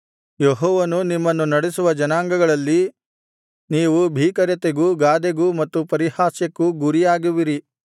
ಯೆಹೋವನು ನಿಮ್ಮನ್ನು ನಡೆಸುವ ಜನಾಂಗಗಳಲ್ಲಿ ನೀವು ಭೀಕರತೆಗೂ ಗಾದೆಗೂ ಮತ್ತು ಪರಿಹಾಸ್ಯಕ್ಕೂ ಗುರಿಯಾಗುವಿರಿ